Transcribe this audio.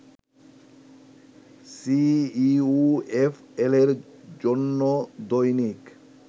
সিইউএফএলের জন্য দৈনিক